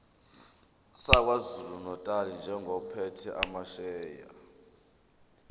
sakwazulunatali njengophethe amasheya